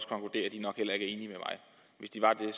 hvis de var det